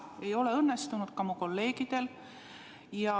Ei ole õnnestunud ka mu kolleegidel.